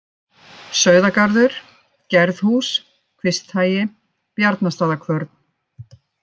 Sauðagarður, Gerðhús, Kvisthagi, Bjarnastaðakvörn